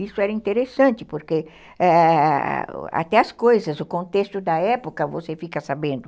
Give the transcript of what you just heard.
Isso era interessante, porque até as coisas, o contexto da época, você fica sabendo.